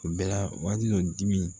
Bɛɛ la wali muso dimi